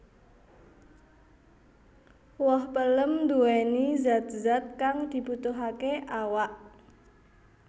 Woh pelem nduwéni zat zat kang dibutuhaké awak